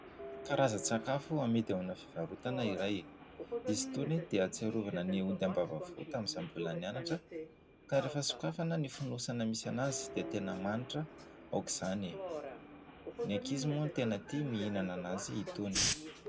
Karazan-tsakafo hamidy ao amina fivarotana iray izy tony dia tsiarovana ny ody am-bava tamin'izaho mbola nianatra ka rehefa sokafana ny fonosana misarona azy dia tena manitra aoka izany. Ny ankizy moa ny tena tia mihinana anazy hitony.